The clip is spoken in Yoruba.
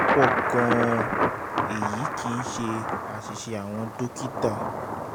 pọ̀ gan-an èyí kì í ṣe àṣìṣe àwọn dókítà